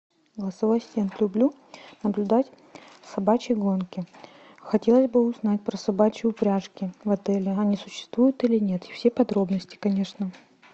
голосовой ассистент люблю наблюдать собачьи гонки хотелось бы узнать про собачьи упряжки в отеле они существуют или нет и все подробности конечно